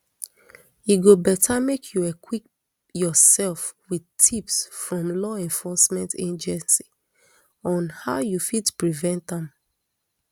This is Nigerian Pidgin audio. e go beta make you equip your self wit tips from law enforcement agency on how you fit prevent am